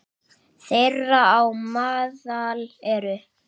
Þeirra á meðal eru